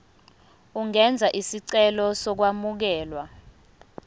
ungenza isicelo sokwamukelwa